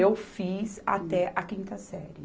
Eu fiz até a quinta série.